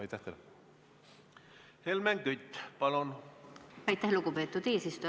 Aitäh, lugupeetud eesistuja!